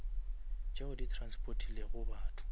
tšeo di transportilego batho